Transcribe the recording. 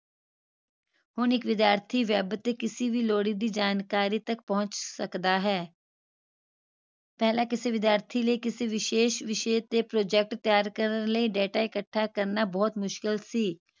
ਹੁਣ ਇਕ ਵਿਦਿਆਰਥੀ web ਤੇ ਕਿਸੇ ਵੀ ਲੋੜੀ ਦੀ ਜਾਣਕਾਰੀ ਤੇ ਪਹੁੰਚ ਸਕਦਾ ਹੈ ਪਹਿਲਾ ਕਿਸੇ ਵਿਦਿਆਰਥੀ ਲਈ ਕਿਸੇ ਵਿਸ਼ੇਸ਼ ਵਿਸ਼ੇ ਤੇ project ਤੈਯਾਰ ਕਰਨ ਲਈ data ਇਕੱਠਾ ਕਰਨਾ ਬਹੁਤ ਮੁਸ਼ਕਿਲ ਸੀ